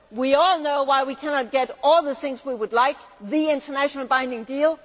We all know why we cannot get one of the things we would like the internationally binding